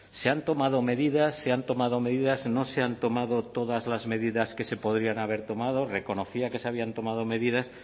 se han tomado medidas se han tomado medidas no se han tomado todas las medidas que se podrían haber tomado reconocía que se habían tomado medidas